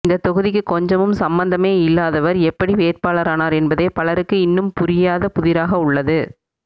இந்த தொகுதிக்கு கொஞ்சமும் சம்பந்தமே இல்லாதவர் எப்படி வேட்பாளரானார் என்பதே பலருக்கு இன்னும் புரியாத புதிராக உள்ளது